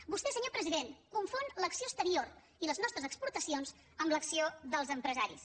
vostè senyor president confon l’acció exterior i les nostres exportacions amb l’acció dels empresaris